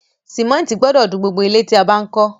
Cémétì gbodò dun gbogbo ilẹ́ tí a bá n kó